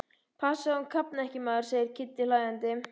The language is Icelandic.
Passaðu að hún kafni ekki, maður! segir Kiddi hlæjandi.